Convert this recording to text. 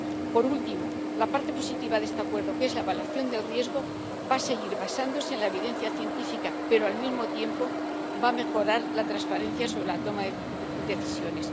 Por último, la parte positiva de este acuerdo, que es la evaluación del riesgo, va a seguir basándose en la evidencia científica, pero, al mismo tiempo, va a mejorar la transparencia sobre la toma de decisiones.